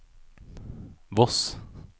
Voss